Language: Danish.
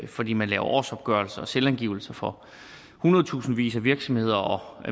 fordi man laver årsopgørelser og selvangivelser for hundredtusindvis af virksomheder og